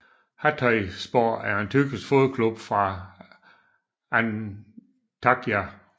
Hatayspor er en tyrkisk fodboldklub fra Antakya